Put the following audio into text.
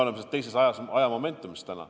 Aga me oleme täna juba teises ajamomendis.